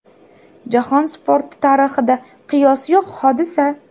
Jahon sporti tarixida qiyosi yo‘q hodisa.